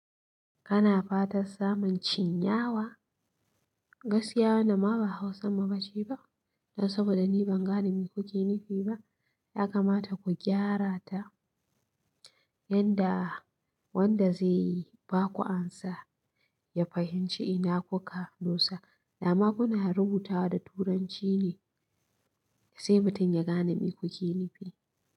Kana fatan samun cin yawa, gaskiya wannan ma ba Hausa mu bace ba. Don saboda ni ban gane me kuke nufi ba, ya kamata ku gyara ta. Yanda wanda zai yi ba ku amsa, ya fahimci ina kuka dusa, dama kuna rubutawa da Turanci ne. Sai mutum ya gane me kuke nufi.